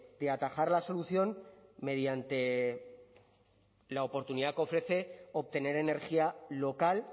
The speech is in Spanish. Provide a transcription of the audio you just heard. de atajar la solución mediante la oportunidad que ofrece obtener energía local